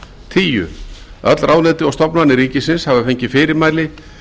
tíu öll ráðuneyti og stofnanir ríkisins hafa fengið fyrirmæli